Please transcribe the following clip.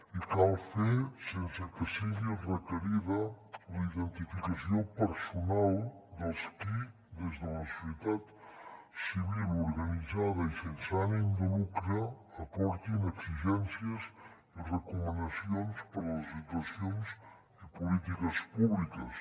i cal fer sense que sigui requerida la identificació personal dels qui des de la societat civil organitzada i sense ànim de lucre aportin exigències i recomanacions per a les institucions i les polítiques públiques